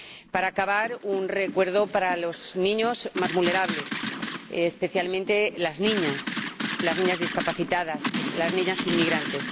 Para acabar, un recuerdo para los niños más vulnerables, especialmente las niñas, las niñas discapacitadas, las niñas inmigrantes.